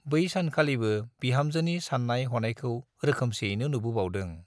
बै सानखालिबो बिहामजोनि सान्नाय हनायखौ रोखोमसैनो नुबोबावदों।